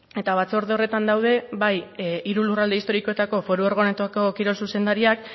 eta batzorde horretan daude bai hiru lurralde historikoetako foru organoetako kirol zuzendariak